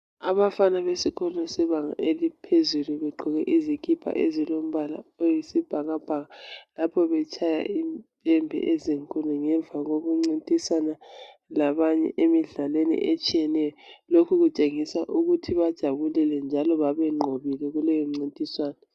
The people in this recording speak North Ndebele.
Abafana besikolo sebanga eliphezulu begqoke izikipa ezilompala oyisibhakabhaka lapho betshaya impembe ezinkulu ngemva kwekuncintisana labanye emidlalweni etshiyeneyo lokhu kutshengisa ukuthi bajabulilile njalo babenqobile kuleyo mcintiswano.